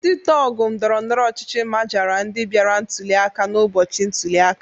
Ndị tọgụ ndọrọndọrọ ọchịchị majara ndị bịara ntuli aka n'ụbọchị ntuli aka.